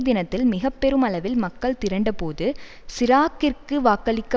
தினத்தில் மிக பெருமளவில் மக்கள் திரண்ட போது சிராக்கிற்கு வாக்களிக்க